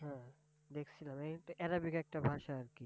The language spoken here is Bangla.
Arabic একটা ভাষা আর কি!